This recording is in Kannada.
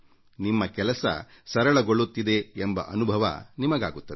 ನಿಮ್ಮ ಕೆಲಸ ಸರಳಗೊಳ್ಳುತ್ತಿದೆ ಎಂಬ ಅನುಭವ ನಿಮಗಾಗುತ್ತದೆ